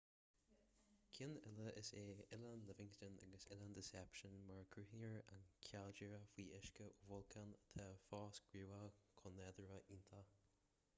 cinn eile is ea oileán livingston agus oileán deception mar a gcruthaíonn an caildéara faoi uisce ó bholcán atá fós gníomhach cuan nádúrtha iontach